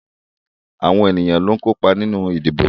Àwọn èyàn ló ń kópa nínú ìdìbò.